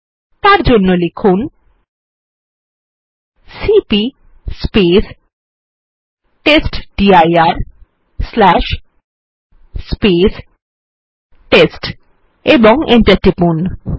তার জন্য লিখুন সিপি টেস্টডির টেস্ট ও এন্টার টিপুন